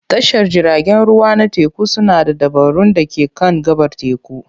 Tashar jiragen ruwa na teku suna da dabarun da ke kan gabar teku.